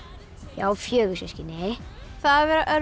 ég á fjögur systkini það